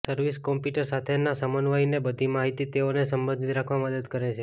service computer સાથેના સમન્વયનને બધી માહિતી તેઓને સંબંધિત રાખવા મદદ કરે છે